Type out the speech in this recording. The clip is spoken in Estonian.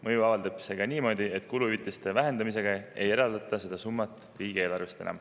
Mõju avaldab see ka niimoodi, et kuluhüvitiste vähendamise korral ei eraldata seda summat enam riigieelarvest.